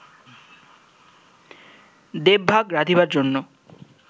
দেবভাগ রাধিবার জন্য